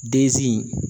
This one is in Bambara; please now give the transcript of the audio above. Dezi in